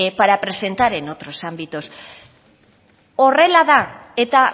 para presentar en otros ámbitos horrela da eta